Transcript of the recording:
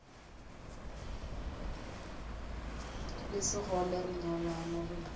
le sekgole re nyalane re